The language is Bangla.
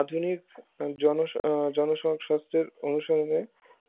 আধুনিক জন আহ জনস্বাস্থ্যের অনুসর্গে